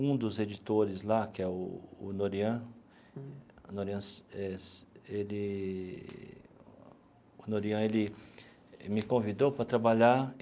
Um dos editores lá, que é o o Norian Norian se eh se ele o Norian ele me convidou para trabalhar.